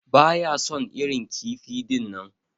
Baya son irin kifi dinnan.